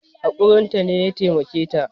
Hakurin ta ne ya taimake ya